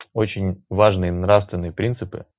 очень важные нравственные принципы